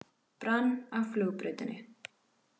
Brann á flugbrautinni